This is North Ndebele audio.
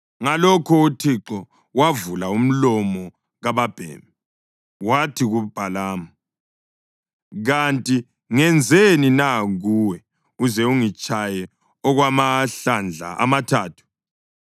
Ngalokho uThixo wavula umlomo kababhemi, wathi kuBhalamu, “Kanti ngenzeni na kuwe uze ungitshaye okwamahlandla amathathu?”